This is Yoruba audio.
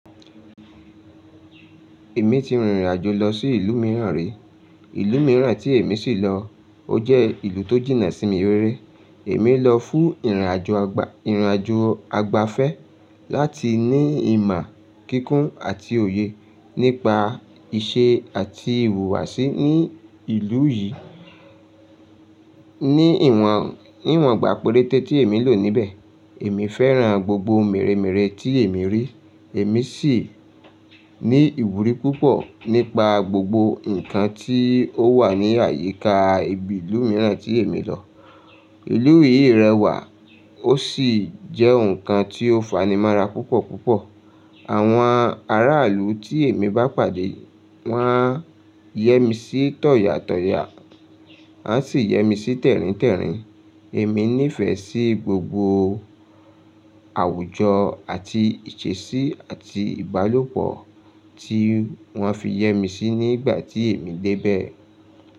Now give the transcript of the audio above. Èmi ti rìnrìn àjò lọ sí ìlú mìíràn rí. Ìlú mìíràn tí èmi sì lọ, ó jẹ́ ìlú tó jìnnà sí mi rere. Èmi lọ fún ìrìn àjò ọgbà ìrìn àjò àgbàfé láti ní ìmọ̀ kíkún àti òye nípa ìṣe àti ìhùwàsí ní ìlú yìí. Ni ìwọ̀n, ní ìwọ̀n ìgbà péréte tí èmi lò níbẹ̀, èmi fẹ́ràn gbogbo ohun mèremere tí èmi rí. Èmi sì ní ìwúrí púpọ̀ nípa gbogbo nǹkan tí ó wà ní àyíká ibi ìlú mìíràn tí èmi lọ. Ìlú yìí rẹwà, ó sì jẹ́ nǹkan tí ó fanimọ́ra púpọ̀ púpọ̀. Àwọn aráàlú tí èmi bá pàdé, wọ́n yẹ́misí tọ̀yàtọ̀yà, wọ́n sì yẹ́misí tẹ̀ríntẹ̀rín. Èmi nífẹ̀ẹ́ sí gbogbo àwùjọ àti ìṣesí àti ìbálòpọ̀ tí wọ́n fi yẹ́misí nígbà tí èmi dé bẹ̀.